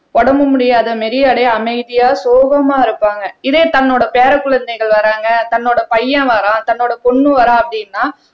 உடம்பு முடியாத மாதிரி அப்படியே அமைதியா சோகமா இருப்பாங்க இதே தன்னோட பேரக் குழந்தைகள் வர்றாங்க தன்னோட பையன் வர்றான் தன்னோட பொண்ணு வர்றா அப்படின்னா